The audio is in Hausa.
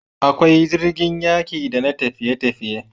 Akwai jirgin yaƙi da na tafiye tafiye